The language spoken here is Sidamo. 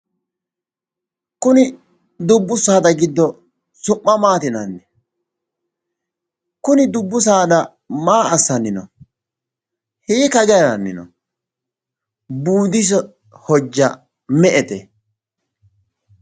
Kuni dubbu saada giddo su'ma maati yinanni? Kuni dubbu saada maa assanni no?hiikka hige haranni no? Buudise hojja me"ete?